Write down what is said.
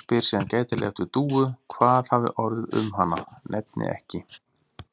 spyr síðan gætilega eftir Dúu, hvað hafi orðið um hana, nefni ekki